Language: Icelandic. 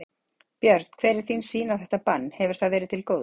Björn: Hver er þín sýn á þetta bann, hefur það verið til góðs?